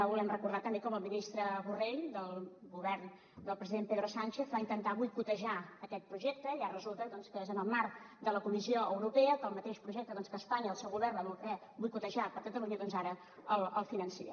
volem recordar també com el ministre borrell del govern del president pedro sánchez va intentar boicotejar aquest projecte i ara resulta doncs que és en el marc de la comissió europea que el mateix projecte que espanya i el seu govern van voler boicotejar per a catalunya doncs ara es finança